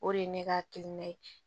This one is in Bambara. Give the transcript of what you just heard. O de ye ne ka hakilina ye